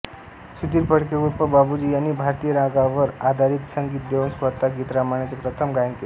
सुधीर फडके उर्फ बाबूजी यांनी भारतीय रागांवर आधारित संगीत देऊन स्वतः गीतरामायणाचे प्रथम गायन केले